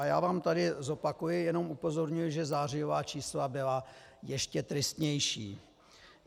A já vám tady zopakuji, jenom upozorňuji, že zářijová čísla byla ještě tristnější.